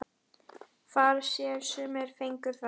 Far sér sumir fengu þar.